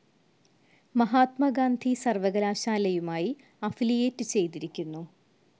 മഹാത്മാഗാന്ധി സർവകലാശാലയുമായി അഫിലിയേറ്റ്‌ ചെയ്തിരിക്കുന്നു.